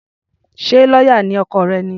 Ṣé lọ́yà ni ọkọ rẹ̀ ni?